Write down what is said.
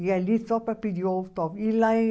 E ali só para pedir o autógrafo. e lá